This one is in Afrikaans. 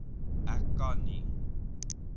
ek kan nie